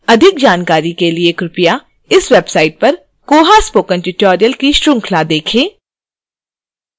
अधिक जानकारी के लिए कृपया इस website पर koha spoken tutorial की श्रृंखला देखें